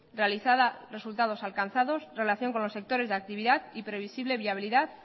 realizada resultados alcanzados relación con los sectores de actividad y previsible viabilidad